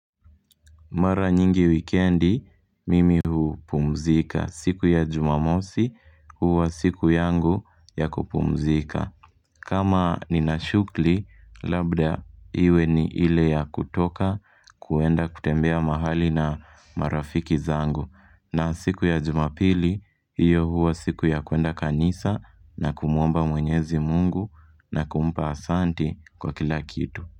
Mara nyingi wikendi, mimi hupumzika. Siku ya jumamosi, huwa siku yangu ya kupumzika. Kama ni na shughuli, labda iwe ni ile ya kutoka kwenda kutembea mahali na marafiki zangu. Na siku ya jumapili, hiyo huwa siku ya kwenda kanisa na kumwomba mwenyezi mungu na kumpa asanti kwa kila kitu.